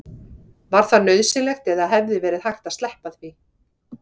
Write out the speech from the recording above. Var það nauðsynlegt eða hefði verið hægt að sleppa því?